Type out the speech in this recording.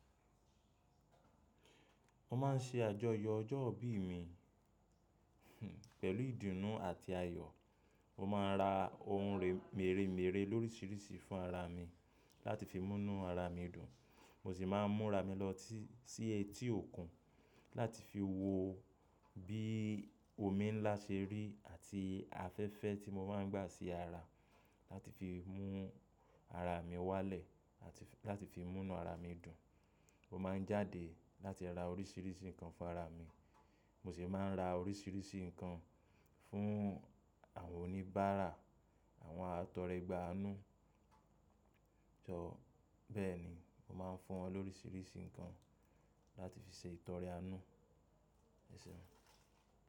Mo má n ṣe àjọyọ̀ ọjọ́ ìbí mi pẹ̀lú ìdùnnú àti ayọ̀. Mo ma ra ohun mèremère lóríṣiríṣi fún ara mi láti fi múnú ara mi dùn. Mo sì ma múnra mi lọ sí etí òkun láti fi wo bí omi ńlá ṣe rí àti afẹ́fẹ́ tí mo má n gba sí ara láti fi mú ara mi wá lẹ̀ láti fi múnú ara mi dùn. Mo ma ń jáde láti ra oríṣiríṣi nǹkan fún ara mi. Mo sì ma ń ra oríṣiríṣi nǹkan fún àwọn oníbára, àwọn atọrẹ gbá a nu jọ. Bẹ́ẹ̀ ni, mo ma fún wọn lóríṣiríṣi nǹkan láti fi ṣe ìtọrẹ àánú. Ẹ ṣeun!